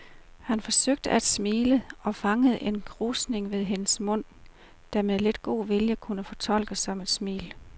Han forsøgte at smile og fangede en krusning ved hendes mund, der med lidt god vilje kunne fortolkes som et smil.